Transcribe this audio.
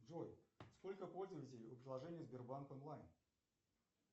джой сколько пользователей у приложения сбербанк онлайн